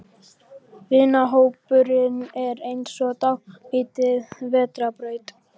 Vinahópurinn er eins og dálítil vetrarbraut.